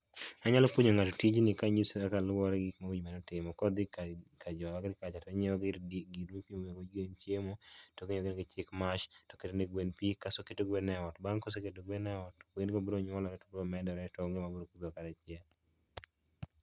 Anyalo puonjo ng'ato tijni kanyise kaka luore gi gik monego obed ni otimo. Ka odhi ka jo agriculture tonyiew gir ,gima imiyo go gwen chiemo, todhi omiyogi gi chick mash, toketo ne gwen pii toketo gwen e ot. Bang' ka oseketo gwen e ot, gwen go biro nyuolore to medore to onge mabiro tho kata achiel